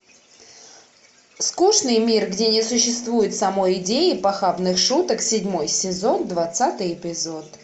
скучный мир где не существует самой идеи похабных шуток седьмой сезон двадцатый эпизод